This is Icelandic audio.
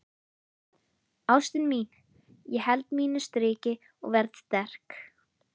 Ástin mín, ég held mínu striki og verð sterk.